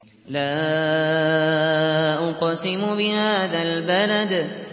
لَا أُقْسِمُ بِهَٰذَا الْبَلَدِ